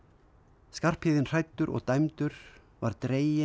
Skarphéðin hræddur og dæmdur var dreginn